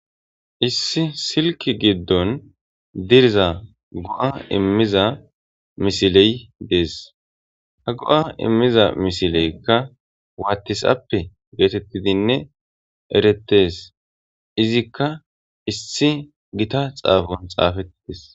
issi silki giddon diriza go7a immiza misiley dees ha go7a immiza misileykka waattis appe geetettidinne eretes izikka issi gita xaafon xaafettites